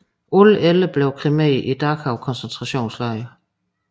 Alle 11 blev kremeret i Dachau koncentrationslejr